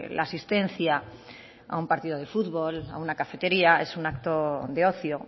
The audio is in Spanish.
la asistencia a un partido de fútbol a una cafetería es un acto de ocio